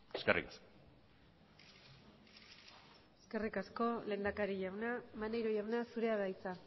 eskerrik asko eskerrik asko lehendakari jauna maneiro jauna zurea da hitza